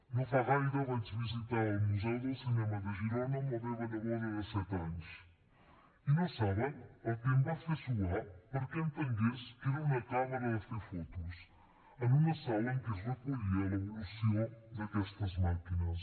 no fa gaire vaig visitar el museu del cinema de girona amb la meva neboda de set anys i no saben el que em va fer suar perquè entengués què era una càmera de fer fotos en una sala en què es recollia l’evolució d’aquestes màquines